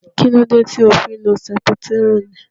Kílódé tí o fi ń lo sẹputírínì